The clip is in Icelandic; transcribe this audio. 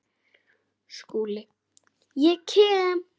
SKÚLI: Ég kem.